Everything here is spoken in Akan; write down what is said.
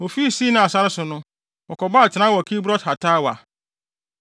Wofii Sinai sare so no, wɔkɔɔ atenae wɔ Kibrot-Hataawa.